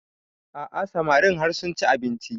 A'a samarin har sun ci abinci